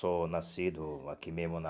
Sou nascido aqui mesmo na...